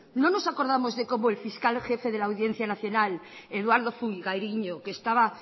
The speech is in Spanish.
no nos acordamos de cómo el fiscal jefe de la audiencia nacional eduardo fungairiño que estaba